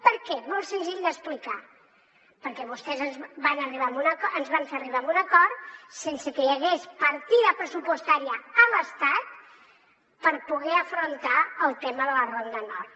per què molt senzill d’explicar perquè vostès ens van fer arribar a un acord sense que hi hagués partida pressupostària a l’estat per poder afrontar el tema de la ronda nord